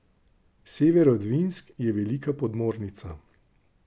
Severodvinsk je velika podmornica.